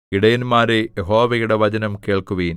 ഇടയന്മാരേ യഹോവയുടെ വചനം കേൾക്കുവിൻ